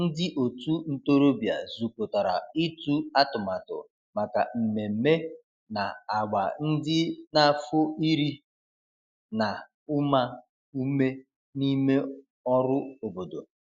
ndi otu ntorobia zukotara itu atụmatụ maka mmeme na agba ndi n'afo iri na uma ume n'ime ọrụ obodo.